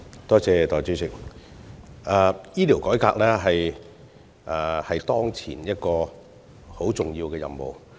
代理主席，醫療改革是政府當前一個很重要的任務。